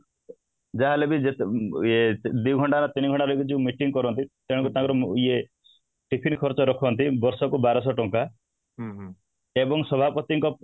ଯାହାହେଲେ ବି ଯେତେ ଦି ଘଣ୍ଟା ନା ତିନି ଘଣ୍ଟା ଇୟେ ଯୋଉ meeting କରନ୍ତି ତେଣୁ ତାଙ୍କର ଯୋଉ ଇୟେ tiffin ଖର୍ଚ୍ଚ ରଖନ୍ତି ବର୍ଷ କୁ ବାରଶହ ଟଙ୍କା ଏବଂ ସଭାପତିଙ୍କ